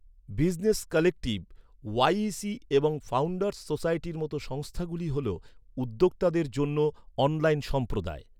Business collective, YEC এবং founders সোসাইটির মতো সংস্থাগুলি হলো উদ্যোক্তাদের জন্য অনলাইন সম্প্রদায়।